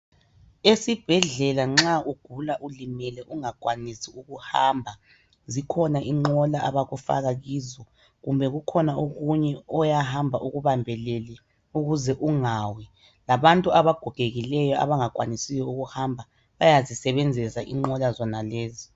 Esibhedlela nxa ugula ulimele ungakwanisi ukuhamba, zikhona inqola abakufaka kizo kumbe kukhona okunye oyahamba ukubambelele ukuze ungawi, labantu abagogekileyo abangakwanisiyo ukuhamba bayazisebenzisa inqola zonalezi.